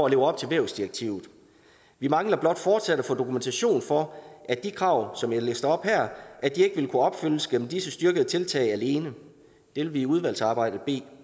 at leve op til vævsdirektivet vi mangler blot fortsat at få dokumentation for at de krav som jeg læste op her ikke vil kunne opfyldes gennem disse styrkede tiltag alene det vil vi i udvalgsarbejdet bede